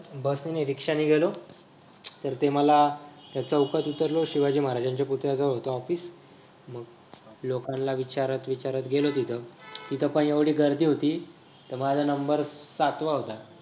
bus ने नाही रिक्षा ने गेलो तर ते मला चौकात उतरलो शिवाजी महाराजांच्या पुतळ्या जवळ होत office मग लोकांना विचारत विचारत गेलो तिथं पण एवढी गर्दी होती माझा नंबर सातवा होता.